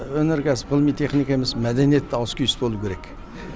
өнеркәсіп ғылыми техника емес мәдениетте ауыс түйіс болуы керек